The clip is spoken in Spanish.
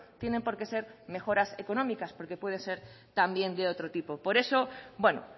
tienen por qué ser mejoras económicas porque pueden ser también de otro tipo por eso bueno